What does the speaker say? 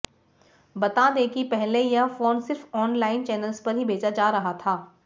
बता दें कि पहले यह फोन सिर्फ ऑनलान चैनल्स पर ही बेचा जा रहा था